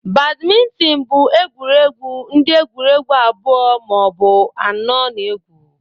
Badminton bụ egwuregwu ndị egwuregwu abụọ ma ọ bụ anọ na-egwu